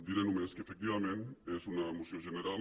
diré només que efectiva·ment és una moció general